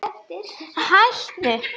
Að kveðja sinn vin